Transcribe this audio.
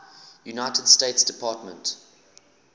united states department